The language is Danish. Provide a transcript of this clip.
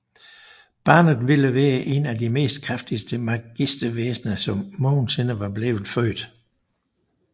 Og barnet ville være en af de mest kraftigste magiske væsner som nogensinde var blevet født